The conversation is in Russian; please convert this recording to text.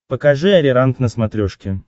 покажи ариранг на смотрешке